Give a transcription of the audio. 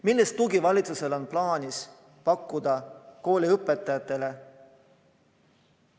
Millist tuge valitsusel on plaanis pakkuda kooliõpetajatele?